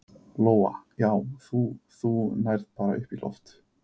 Lóa: Já, þú, þú nærð bara upp í loft?